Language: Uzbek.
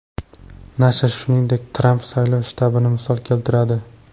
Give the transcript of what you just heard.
Nashr, shuningdek, Tramp saylov shtabini misol keltiradi.